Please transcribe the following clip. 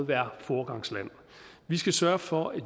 være foregangsland vi skal sørge for at